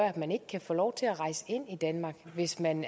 at man ikke kan få lov til at rejse ind i danmark hvis man